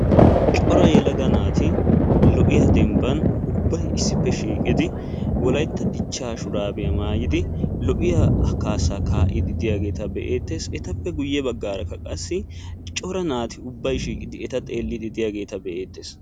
cora yelaga naati lo'iyaa dembban ubbay issippe shiiqidi wolaytta dichaa shuraabbiya maayidi lo'iyaa kaasaa kaa'iidi diya naata be'eetees. etappe guyye bagaara qassi cora naati ubbay shiiqidi eta xeeliidi diyaageeta be'eetees.